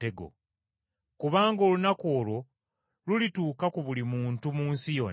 Kubanga olunaku olwo lulituuka ku buli muntu mu nsi yonna.